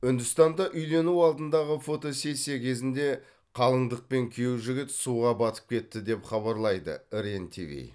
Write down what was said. үндістанда үйлену алдындағы фотосессия кезінде қалыңдық пен күйеу жігіт суға батып кетті деп хабарлайды рен тиви